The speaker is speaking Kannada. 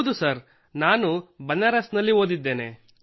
ಹೌದು ಸರ್ ನಾನು ಬನಾರಸ್ ನಲ್ಲಿ ಓದಿದ್ದೇನೆ